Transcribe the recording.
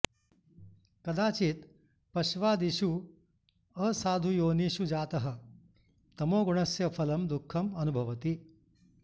कदाचित् पश्वादिषु असाधुयोनिषु जातः तमोगुणस्य फलं दुःखम् अनुभवति